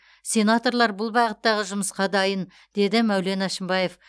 сенаторлар бұл бағыттағы жұмысқа дайын деді мәулен әшімбаев